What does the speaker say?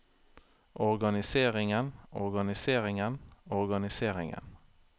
organiseringen organiseringen organiseringen